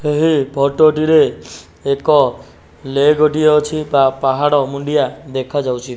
ଏହି ଫଟ ଟି ରେ ଏକ ଲେକ ଟିଏ ଅଛି। ବା ପାହାଡ଼ ମୁଣ୍ଡିଆ ଦେଖାଯାଉଚି।